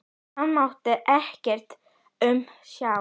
Hann mátti ekkert aumt sjá.